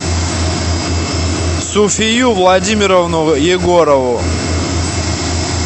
суфию владимировну егорову